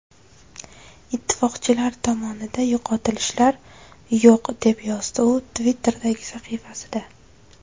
Ittifoqchilar tomonida yo‘qotishlar yo‘q”, deb yozdi u Twitter’dagi sahifasida.